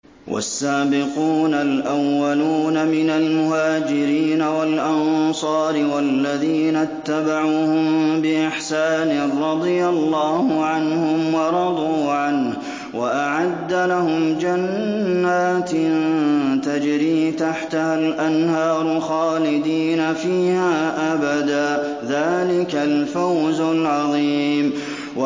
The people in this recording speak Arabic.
وَالسَّابِقُونَ الْأَوَّلُونَ مِنَ الْمُهَاجِرِينَ وَالْأَنصَارِ وَالَّذِينَ اتَّبَعُوهُم بِإِحْسَانٍ رَّضِيَ اللَّهُ عَنْهُمْ وَرَضُوا عَنْهُ وَأَعَدَّ لَهُمْ جَنَّاتٍ تَجْرِي تَحْتَهَا الْأَنْهَارُ خَالِدِينَ فِيهَا أَبَدًا ۚ ذَٰلِكَ الْفَوْزُ الْعَظِيمُ